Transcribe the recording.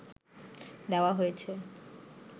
দেওয়া হয়েছে